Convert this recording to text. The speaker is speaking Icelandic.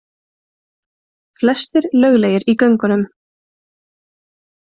Flestir löglegir í göngunum